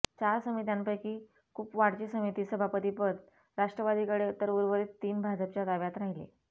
चार समित्यांपैकी कुपवाडची समिती सभापतीपद राष्ट्रवादीकडे तर उर्वरित तीन भापजच्या ताब्यात राहिले